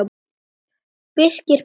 Birki brá illa.